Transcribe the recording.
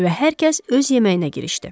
Və hər kəs öz yeməyinə girişdi.